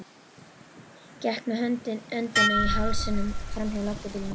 Gekk með öndina í hálsinum framhjá löggubílnum.